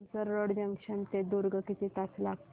Tumsar road junction ते दुर्ग किती तास लागतील